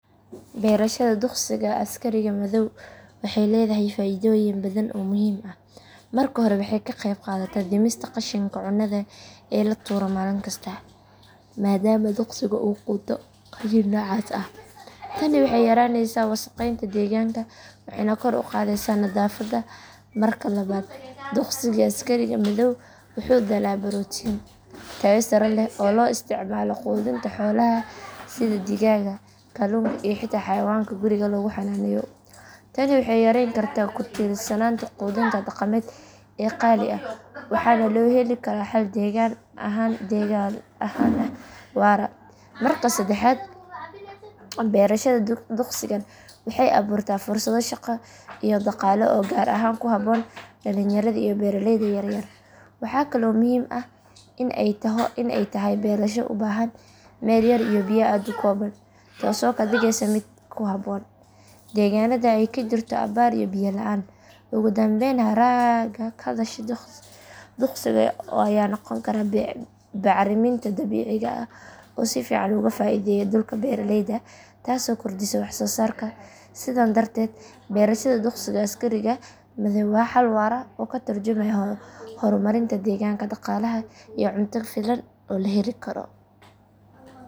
Beerashada duqsiga askariga madhoow waxay leedahay faaiidooyin badan oo muhiim ah. Marka hore, waxay ka qeyb qaadataa dhimista qashinka cunnada ee la tuuro maalin kasta, maadaama duqsigu uu quuto qashin noocaas ah. Tani waxay yaraynaysaa wasakheynta deegaanka waxayna kor u qaadaysaa nadaafadda. Marka labaad, duqsiga askariga madhoow wuxuu dhalaa borotiin tayo sare leh oo loo isticmaalo quudinta xoolaha sida digaagga kalluunka iyo xitaa xayawaanka guriga lagu xanaaneeyo. Tani waxay yareyn kartaa ku tiirsanaanta quudinta dhaqameed ee qaali ah waxaana loo heli karaa xal deegaan ahaan waara. Marka saddexaad, beerashada duqsigan waxay abuurtaa fursado shaqo iyo dhaqaale oo gaar ahaan ku habboon dhallinyarada iyo beeraleyda yaryar. Waxaa kale oo muhiim ah in ay tahay beerasho u baahan meel yar iyo biyo aad u kooban taasoo ka dhigaysa mid ku habboon deegaanada ay ka jirto abaar iyo biyo la’aan. Ugu dambeyn, haraaga ka dhasha duqsiga ayaa noqon kara bacriminta dabiiciga ah oo si fiican uga faa’iideeya dhulka beeraleyda taasoo kordhisa wax soo saarka. Sidan darteed beerashada duqsiga askariga madhoow waa xal waara oo ka tarjumaya horumarinta deegaanka, dhaqaalaha iyo cunto ku filan oo la heli karo.